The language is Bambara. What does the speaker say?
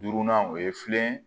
Duurunan o ye filen